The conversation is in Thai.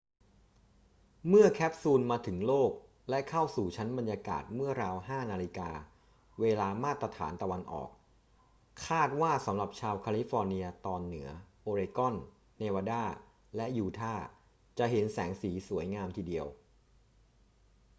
เมื่อแคปซูลมาถึงโลกและเข้าสู่ชั้นบรรยากาศเมื่อราว 5 น. เวลามาตรฐานตะวันออก คาดว่าสำหรับชาวแคลิฟอร์เนียตอนเหนือ โอเรกอน เนวาดา และยูทาห์ จะเห็นแสงสีสวยงามทีเดียว